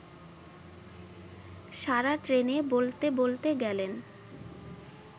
সারা ট্রেনে বলতে বলতে গেলেন